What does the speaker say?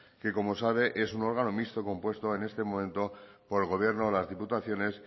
que como sabe es un órgano mixto compuesto en este momento por el gobierno las diputaciones